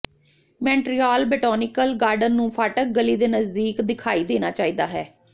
Montreal botanical garden ਨੂੰ ਫਾਟਕ ਗਲੀ ਦੇ ਨਜ਼ਦੀਕ ਦਿਖਾਈ ਦੇਣਾ ਚਾਹੀਦਾ ਹੈ